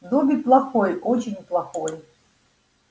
добби плохой очень плохой